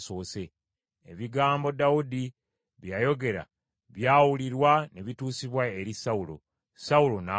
Ebigambo Dawudi bye yayogera byawulirwa ne bituusibwa eri Sawulo; Sawulo n’amutumya.